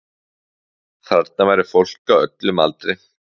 Þarna væri fólk á öllum aldri